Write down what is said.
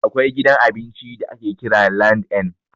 Akwai gidan abinci da ake kira LandN.